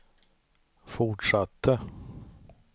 fortsatte